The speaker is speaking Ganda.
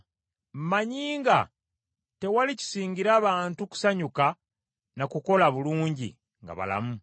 Mmanyi nga tewali kisingira bantu kusanyuka na kukola bulungi nga balamu.